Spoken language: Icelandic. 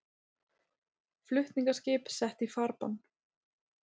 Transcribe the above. Flutningaskip sett í farbann